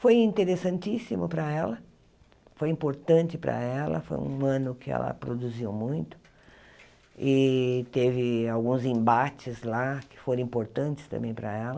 Foi interessantíssimo para ela, foi importante para ela, foi um ano que ela produziu muito, e teve alguns embates lá que foram importantes também para ela.